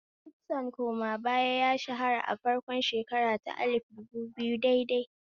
Kitson koma baya ya shahara a farkon shekara ta alif dubu biyu daidai